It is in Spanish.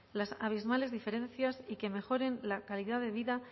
las abismales diferencias y que mejoren la calidad de vida